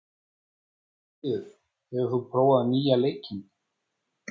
Guðfríður, hefur þú prófað nýja leikinn?